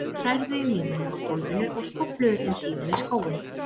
Þeir hrærðu í miðunum á gólfinu og skófluðu þeim síðan í skóinn.